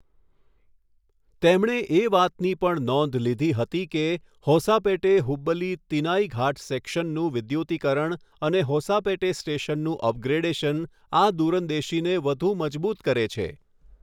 તેમણે એ વાતની પણ નોંધ લીધી હતી કે, હોસાપેટે હુબલી તિનાઇઘાટ સેક્શનનું વિદ્યુતીકરણ અને હોસાપેટે સ્ટેશનનું અપગ્રેડેશન આ દૂરંદેશીને વધુ મજબૂત કરે છે.